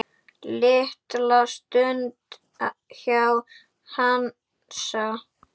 Litla stund hjá Hansa